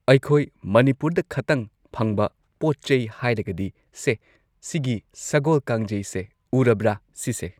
ꯑꯩꯈꯣꯏ ꯃꯅꯤꯄꯨꯔꯗ ꯈꯇꯪ ꯐꯪꯕ ꯄꯣꯠꯆꯩ ꯍꯥꯏꯔꯒꯗꯤ ꯁꯦ ꯁꯤꯒꯤ ꯁꯒꯣꯜ ꯀꯥꯡꯖꯩꯁꯦ ꯎꯔꯕ꯭ꯔꯥ ꯁꯤꯁꯦ